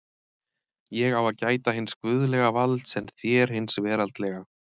Ég á að gæta hins guðlega valds en þér hins veraldlega!